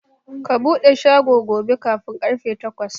Ka buɗe shago gobe kafin karfe takwas!